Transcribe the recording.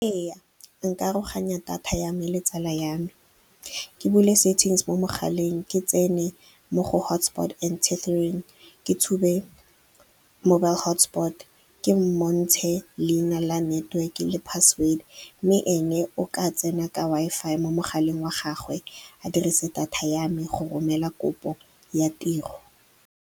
Ee, nka aroganya data yame le tsala yame. Ke bule settings mo mogaleng, ke tsene mo go hotspot and tethering, ke tshume mobile motspot. Ke montshe leina la network-e le password, mme ene o ka tsena ka Wi-Fi mo mogaleng wa gagwe a dirise data ya me go romela kopo ya tiro.